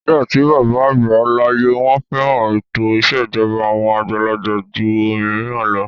Nígbà tí bàbá àgbà láyé, wọ́n fẹ́ran ètò ìṣèjọba àwọn àgbàlagbà jù òmíràn lọ.